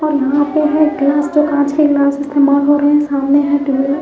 और यहां पर वो ग्लास के कांच के ग्लास इस्तेमाल हो रहें हैं सामने है ।